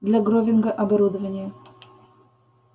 для гровинга оборудование